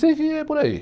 E sei que é por aí.